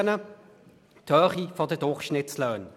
Es ist die Höhe der Durchschnittslöhne.